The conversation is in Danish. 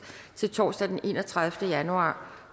til torsdag den enogtredivete januar